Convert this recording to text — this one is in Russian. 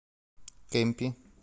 кемпи